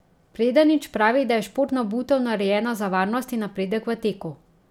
Predanič pravi, da je športna obutev narejena za varnost in napredek v teku.